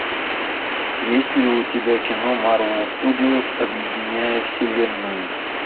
есть ли у тебя кино марвел студиос объединяя вселенную